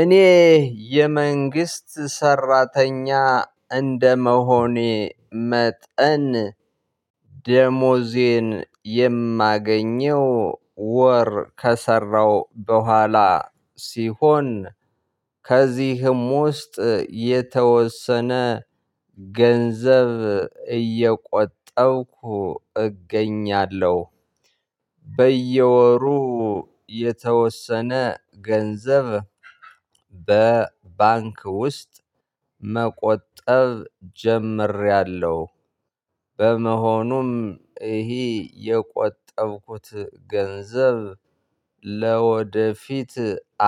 እኔ የመንግስት ሰራተኛ እንደመሆኔ መጠን ደሞዜን የማገኘው ወር ከሰራው በኋላ ሲሆን ከዚህም ውስጥ የተወሰነ ገንዘብ እየቆጠብኩ እገኛለሁ። በየወሩ የተወሰነ ገንዘብ በባንክ ውስጥ መቆጠብ ጀምሬያለሁ። በመሆኑም ይህ የቆጠብኩት ገንዘብ ለወደፊት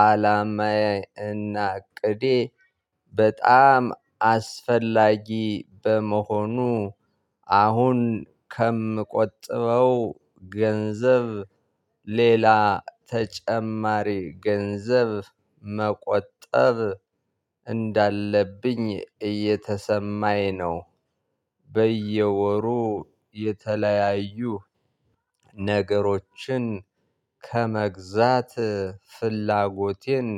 አላማዬ እና እቅዴ በጣም አስፈላጊ በመሆኑ አሁን ከምቆጥበው ገንዘብ ሌላ ተጨማሪ ገንዘብ መቆጠብ እንዳለብኝ እየተሰማኝ ነው። በየወሩ የተለያዩ ነገሮችን ከመግዛት ፍላጎቴን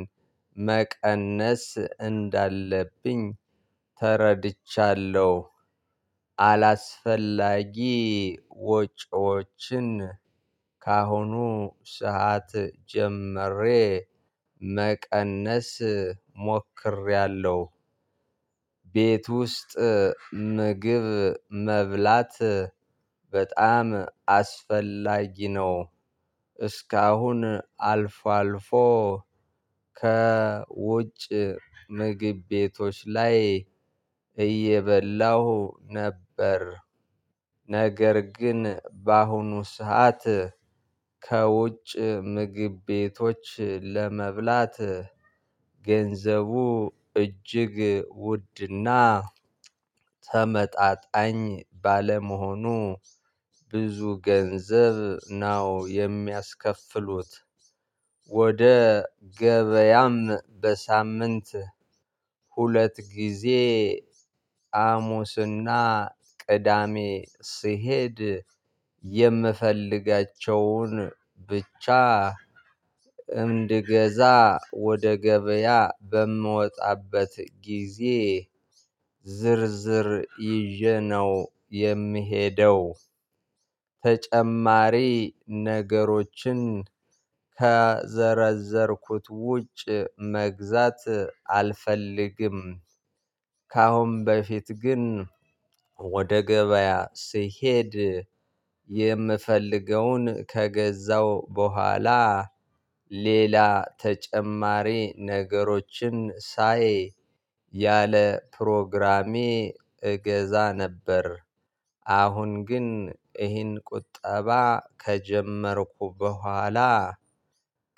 መቀነስ እንዳለብኝ ተረድቻለሁ። አላስፈላጊ ወጪዎችን ካሁኑ ሰዓት ጀመሬ መቀነስ ሞክሬያለሁ። ቤት ውስጥ ምግብ መብላት በጣም አስፈላጊ ነው። እስካሁን አልፎ አልፎ፣ ከውጭ ምግብ ቤቶች ላይ እየበላሁ ነበር። ነገር ግን በአሁኑ ሰዓት ከውጭ ምግብ ቤቶች ለመብላት ገንዘቡ እጅግ ውድና ተመጣጣኝ ባለመሆኑ ብዙ ገንዘብ ነው የሚያስከፍሉት። ወደ ገበያም በሳምንት ሁለት ጊዜ ሐሙስና ቅዳሜ ስሄድ የምፈልጋቸውን ብቻ እንድገዛ ወደ ገበያ በምወጣበት ጊዜ ዝርዝር ይዤ ነው የምሄደው። ተጨማሪ ነገሮችን ከዘረዘርኩት ውጭ መግዛት አልፈልግም። ከአሁን በፊት ግን ወደ ገበያ ስሄድ የምፈልገውን ከገዛው በኋላ ሌላ ተጨማሪ ነገሮችን ሳይ ያለ ፕሮግራሜ እገዛ ነበር። አሁን ግን ይህን ቁጠባ ከጀመርኩ በኋላ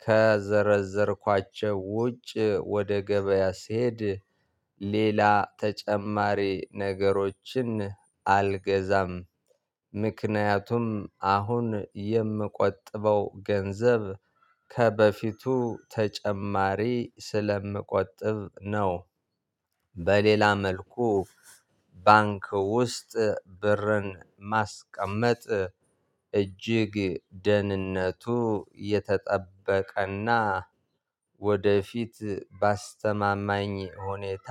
ከዘረዘርኳቸው ውጭ ወደ ገበያ ስሄድ ሌላ ተጨማሪ ነገሮችን አልገዛም። ምክንያቱም አሁን የምቆጥበው ገንዘብ ከበፊቱ ተጨማሪ ስለምቆጥብ ነው። በሌላ መልኩ ባንክ ውስጥ ብርን ማስቀመጥ እጅግ ደህንነቱ የተጠበቀና ወደፊት ባስተማማኝ ሁኔታ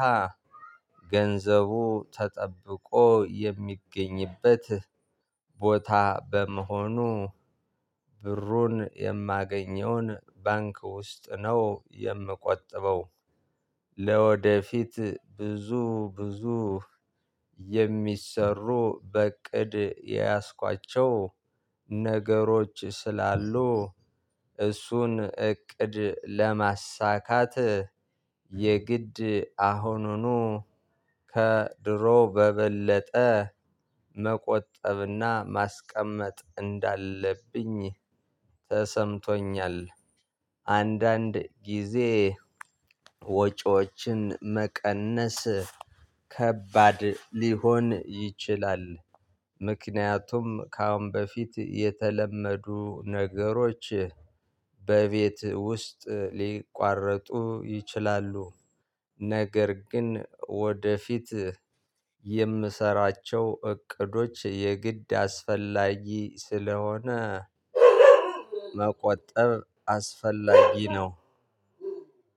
ገንዘቡ ተጠብቆ የሚገኝበት ቦታ በመሆኑ፣ ብሩን የማገኘውን ባንክ ውስጥ ነው የምቆጥበው። ለወደፊት ብዙ ብዙ የሚሰሩ በእቅድ የያዝኳቸው ነገሮች ስላሉ እሱን እቅድ ለማሳካት የግድ አሁኑኑ ከድሮ በበለጠ መቆጠብና ማስቀመጥ እንዳለብኝ ተሰምቶኛል። አንዳንድ ጊዜ ወጪዎችን መቀነስ ከባድ ሊሆን ይችላል፣ ምክንያቱም ከአሁን በፊት የተለመዱ ነገሮች በቤት ውስጥ ሊቋረጡ ይችላሉ። ነገር ግን ወደፊት የምሰራቸው እቅዶች የግድ አስፈላጊ ስለሆነ መቆጠብ አስፈላጊ ነው።